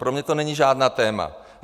Pro mě to není žádné téma.